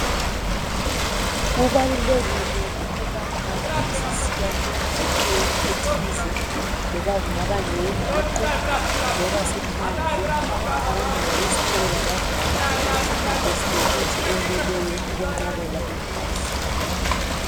Kubalulekile ukubana masisiya emidlalweni ethize loba kungaba ngeyenguqu loba siphandle, abantwana labadala sihambe silemithi eyeneleyo okuyenqabela ingozi.